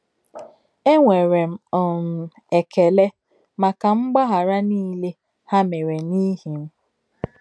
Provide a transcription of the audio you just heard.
Ènwèrè um m èkèlè m̀ákà m̀gbághárí nìlè hà mèrè n’ìhì m.